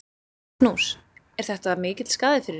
Magnús: Er þetta mikill skaði fyrir ykkur?